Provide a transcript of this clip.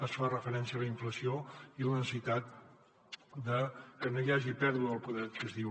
es fa referència a la inflació i a la necessitat de que no hi hagi pèrdua de poder adquisitiu